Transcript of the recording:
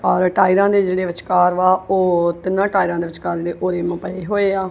ਔਰ ਟਾਈਰਾਂ ਦੇ ਜੇਹੜੇ ਵਿਚਕਾਰ ਵਾ ਓਹ ਤਿੰਨਾਂ ਟਾਈਲਾਂ ਦੇ ਵਿਚਕਾਰ ਜੇਹੜੇ ਪਏ ਹੋਏ ਆ।